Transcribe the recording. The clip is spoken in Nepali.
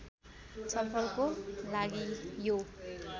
छलफलको लागि यो